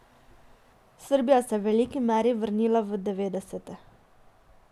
Srbija se je v veliki meri vrnila v devetdesete.